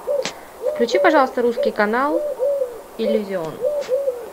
включи пожалуйста русский канал иллюзион